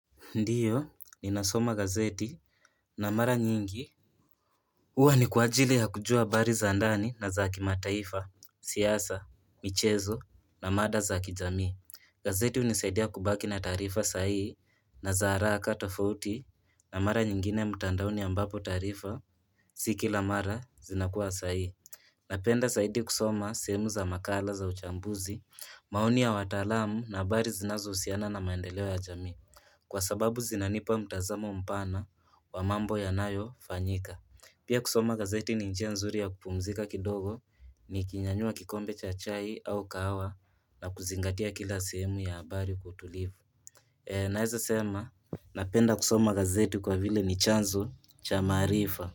Ndiyo, ninasoma gazeti na mara nyingi huwa ni kwa ajili ya kujua habari za ndani na za kimataifa, siasa, michezo na mada za kijamii gazeti hunisaidia kubaki na taarifa sahihi na za haraka tofouti na mara nyingine mtandaoni ambapo taarifa Si kila mara zinakuwa sahihi Napenda saidi kusoma sehemu za makala za uchambuzi, maoni ya wataalamu na habari zinazousiana na maendeleo ya jamii Kwa sababu zinanipa mtazamo mpana wa mambo yanayofanyika Pia kusoma gazeti ni njia nzuri ya kupumzika kidogo nikinyanyua kikombe cha chai au kahawa na kuzingatia kila sehemu ya habari kwa utulivu Naeza sema napenda kusoma gazeti kwa vile ni chanzo cha maarifa.